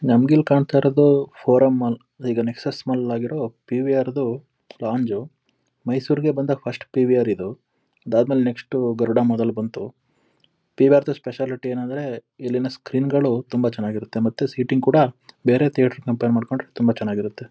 ನಂಗಿಲ್ಲಿ ಕಾಣ್ತಾ ಇರೋದು forum mall ಈಗ ನೆಕ್ಸಸ್ ಮಾಲ್ ಆಗಿರೋ ಪಿವಿಆರ್ ದು ಲಾಂಜ್ ಮೈಸೂರಿಗೆ ಬಂದ ಫಸ್ಟ್ ಪಿವಿಆರ್ ಇದು. ಇದಾದ ಮೇಲೆ ನೆಕ್ಸ್ಟ್ ಗರುಡ ಮದಲು ಬಂತು. ಪಿವಿಆರ್ ದ ಸ್ಪೆಷಾಲಿಟಿ ಏನಂದ್ರೆ ಇಲ್ಲಿನ ಸ್ಕ್ರೀನ್ ಗಳು ತುಂಬಾ ಚೆನ್ನಾಗಿರುತ್ತೆ ಮತ್ತೆ ಸೀಟಿಂಗ್ ಕೂಡ ಬೇರೆ ಥಿಯೇಟರ್ ಗೆ ಕಂಪೇರ್ ಮಾಡ್ಕೊಂಡ್ರೆ ತುಂಬಾ ಚೆನ್ನಾಗಿರುತ್ತೆ.